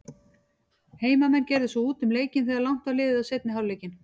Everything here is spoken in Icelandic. Heimamenn gerðu svo út um leikinn þegar langt var liðið á seinni hálfleikinn.